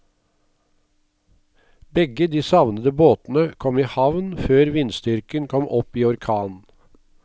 Begge de savnede båtene kom i havn før vindstyrken kom opp i orkan.